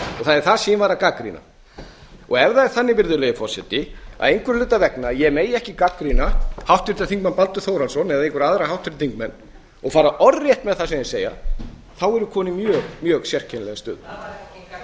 það er það sem ég var að gagnrýna ef það er þannig að ég megi ekki einhverra hluta vegna gagnrýna háttvirtur þingmaður baldur þórhallsson eða einhverja aðra háttvirta þingmenn og fara orðrétt með það sem þeir segja þá er ég kominn í mjög sérkennilega stöðu það var rétt líka það